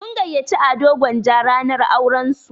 Sun gayyaci Ado Gwanja ranar auran su.